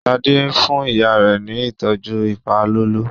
Shade fún ìyá rẹ ní ìtọjú ipalọlọ